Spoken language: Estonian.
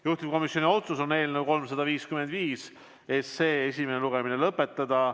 Juhtivkomisjoni otsus on eelnõu 355 esimene lugemine lõpetada.